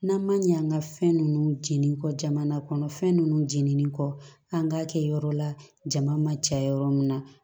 N'an ma ɲɛ an ka fɛn ninnu jeninen kɔ jamana kɔnɔ fɛn ninnu jeninen kɔ an k'a kɛ yɔrɔ la jama ma caya yɔrɔ min na